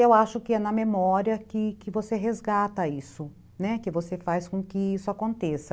Eu acho que é na memória que que você resgata isso, né, que você faz com que isso aconteça.